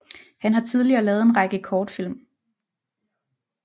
Han har tidligere lavet en række kortfilm